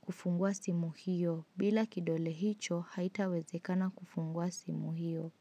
kufungua simu hiyo bila kidole hicho haitawezekana kufungua simu hiyo.